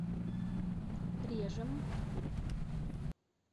режем